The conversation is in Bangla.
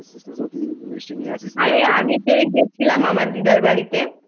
তুই তো নিজে মিষ্টি খেয়ে এলি তুই তো মিষ্টি